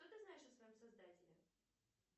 что ты знаешь о своем создателе